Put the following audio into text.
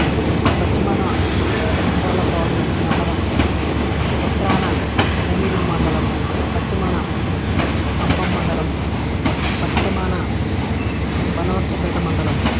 పశ్చిమాన తర్లుపాడు మండలం ఉత్తరాన పెద్దారవీడు మండలం పశ్చిమాన కంభం మండలం పశ్చిమాన బెస్తవారిపేట మండలం